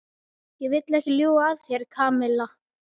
Ég vil ekki ljúga að þér, Kamilla.